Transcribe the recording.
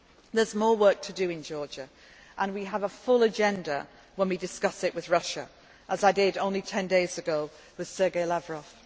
There is more work to do in Georgia, and we have a full agenda when we discuss it with Russia, as I did only 10 days ago with Sergey